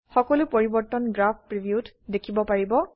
সকলো পৰিবৰ্তন graph preview ত দেখিব পাৰিব